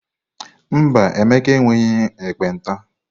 Mba, Emeka enweghị ekpenta.